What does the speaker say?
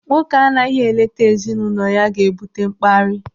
Nwoke anaghị eleta ezinụlọ ya ga-ebute mkparị.